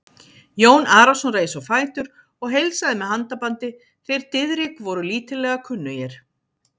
Jón Arason reis á fætur og heilsaði með handabandi, þeir Diðrik voru lítillega kunnugir.